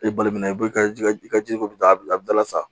I balimamu ka ji ko bi dabila a bi dala sa